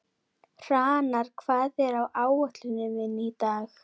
Hrannar, hvað er á áætluninni minni í dag?